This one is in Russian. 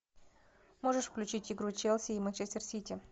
можешь включить игру челси и манчестер сити